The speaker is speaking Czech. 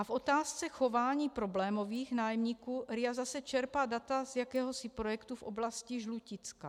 A v otázce chování problémových nájemníků RIA zase čerpá data z jakéhosi projektu v oblasti Žluticka.